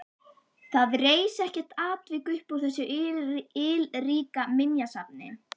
Það reis ekkert eitt atvik upp úr þessu ylríka minjasafni.